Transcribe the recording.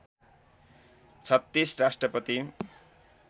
३६ राष्ट्रपति